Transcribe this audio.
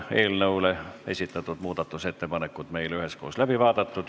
Muudatusettepanekud on meil üheskoos läbi vaadatud.